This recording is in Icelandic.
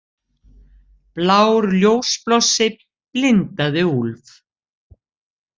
Blár ljósblossi blindaði Úlf.